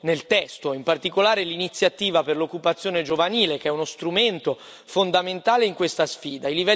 nel testo, in particolare l'iniziativa per l'occupazione giovanile, che è uno strumento fondamentale in questa sfida.